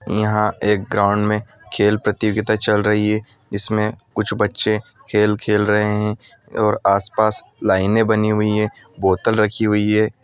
यहा एक ग्राउन्ड मे खेल प्रतियोगिता चल रही है जिसमे कुछ बच्चे खेल खेल रहे है और आस पास लाइन ए बन्नी हुई है बोतल रक्खी हुई है।